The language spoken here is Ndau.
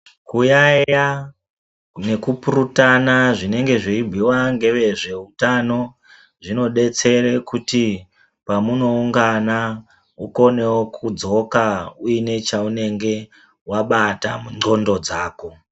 Kuyayeya nekupurutana zvinenge zveyibhuyiwa ngezveutano zvinodetsere kuti pamunoungana mukonewo kudzoka uine chaunenge wabata munxondo dzako